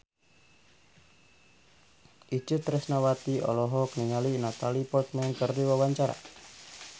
Itje Tresnawati olohok ningali Natalie Portman keur diwawancara